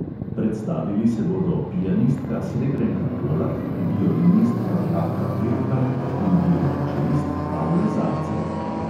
Predstavili se bodo pianistka srebrenka polak, violinistka vladka peljhan in violončelist pavle zajcev.